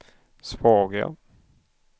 svaga